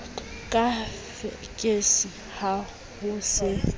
ka fekese ha ho se